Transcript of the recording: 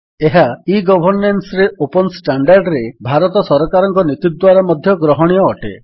ଏହା ଇ ଗଭର୍ନେନ୍ସରେ ଓପନ୍ ଷ୍ଟାଣ୍ଡାର୍ଡରେ ଭାରତ ସରକାରଙ୍କ ନୀତି ଦ୍ୱାରା ମଧ୍ୟ ଗ୍ରହଣୀୟ ଅଟେ